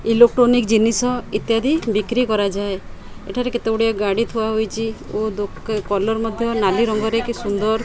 Electronic ଜିନିଷ ଇତ୍ୟାଦି ବିକ୍ରି କରାଯାଏ। ଏଠାରେ କେତେଗୁଡିଏ ଗାଡି ଥୁଆହୋଇଚି ଓ ଦୋକ କଲର୍ ମଧ୍ୟ ନାଲି ରଙ୍ଗର କି ସୁନ୍ଦର --